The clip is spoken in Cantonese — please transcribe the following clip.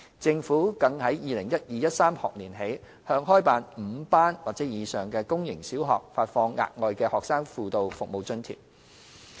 政府更由 2012-2013 學年起向開辦5班或以上的公營小學發放額外的"學生輔導服務津貼"。